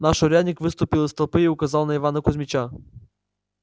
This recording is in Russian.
наш урядник выступил из толпы и указал на ивана кузмича